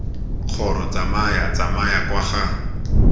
kgoro tsamaya tsamaya kwa ga